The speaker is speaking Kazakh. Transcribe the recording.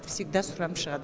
всегда сұранып шығады